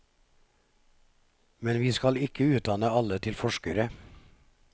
Men vi skal ikke utdanne alle til forskere.